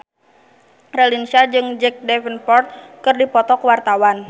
Raline Shah jeung Jack Davenport keur dipoto ku wartawan